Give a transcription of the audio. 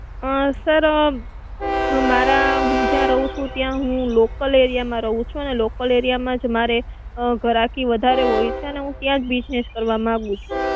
અ sir હું જ્યાં રહું છું ત્યાં હું local area માં રહું છું. local area મા જ મારે ઘરાકી વધારે હોય છે ને હું ત્યાં જ business કરવા માંગુ છું.